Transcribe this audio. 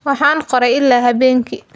Waxaan qoray ilaa habeenkii.